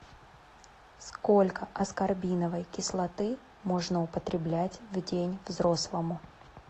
сколько аскорбиновой кислоты можно употреблять в день взрослому